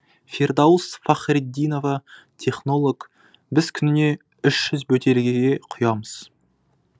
фирдаус фахритдинова технолог біз күніне ұш жүз бөтелкеге құямыз